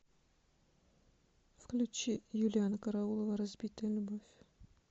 включи юлианна караулова разбитая любовь